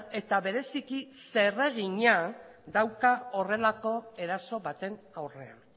eta bereziki zeregina dauka horrelako eraso baten aurrean